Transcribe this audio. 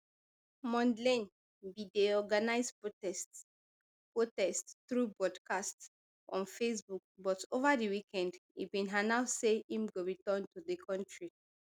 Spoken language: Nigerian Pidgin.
mondlane bin dey organise protest protest through broadcast on facebook but ova di weekend e bin announce say im go return to di kontri